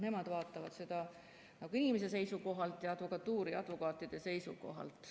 Nemad vaatavad seda inimese seisukohalt ja advokatuuri ning advokaatide seisukohalt.